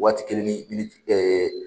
Waati kelen ni miniti ɛ